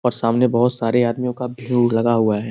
और सामने बहुत सारे आदमियों का भीउर लगा हुआ है।